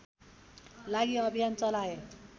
लागि अभियान चलाए